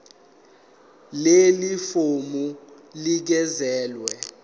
leli fomu linikezelwe